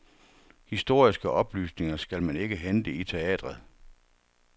Historiske oplysninger skal man ikke hente i teatret.